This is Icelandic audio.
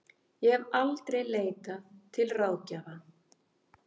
Ég hef aldrei leitað til ráðgjafa.